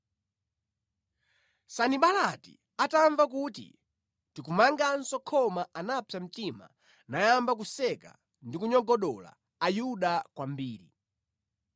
Sanibalati atamva kuti tikumanganso khoma anapsa mtima nayamba kuseka ndi kunyogodola Ayuda kwambiri.